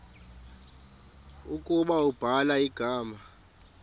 ukuba ubhala igama